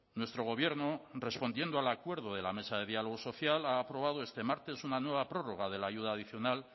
nuestro gobierno respondiendo al acuerdo de la mesa de diálogo social ha aprobado este martes una nueva prórroga de la ayuda adicional